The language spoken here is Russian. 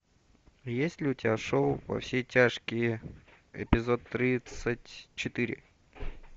есть ли у тебя шоу во все тяжкие эпизод тридцать четыре